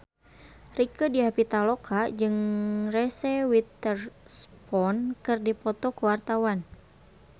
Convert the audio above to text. Rieke Diah Pitaloka jeung Reese Witherspoon keur dipoto ku wartawan